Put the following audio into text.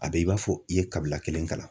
A bɛ i b'a fɔ i ye kabila kelen kalan.